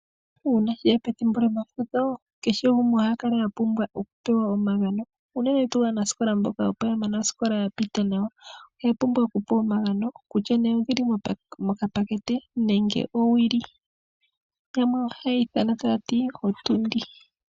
Uuna sheya pethimbo lyomafudho keshe gumwe oha kala apumbwa okupewa omagano uunene tu aanasikola mboka opo yamana oosikola yapita nawa oya pumbwa okupewa omagano kutya ne odhili mokapakete nenge owili , yamwe oha yeyi iithana taati ootundi.